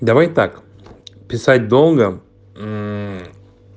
давай так писать долго мм